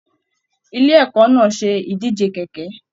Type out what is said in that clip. Ilé ẹkọ náà se ìdíje kẹkẹ.